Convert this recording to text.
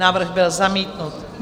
Návrh byl zamítnut.